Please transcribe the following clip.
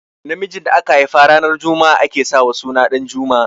Namijin da aka haifa ranar juma'a ake sa wa suna Ɗanjuma